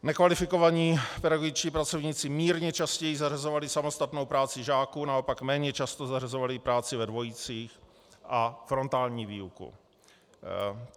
Nekvalifikovaní pedagogičtí pracovníci mírně častěji zařazovali samostatnou práci žáků, naopak méně často zařazovali práci ve dvojicích a frontální výuku.